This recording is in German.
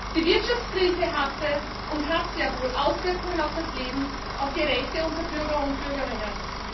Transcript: Die Wirtschaftskrise hatte und hat sehr wohl Auswirkungen auf das Leben, auf die Rechte unserer Bürger und Bürgerinnen.